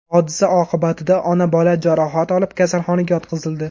Hodisa oqibatida ona-bola jarohat olib, kasalxonaga yotqizildi.